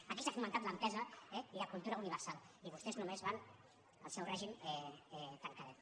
aquí s’ha fomentat l’entesa i la cultura universal i vostès només van al seu règim tancadet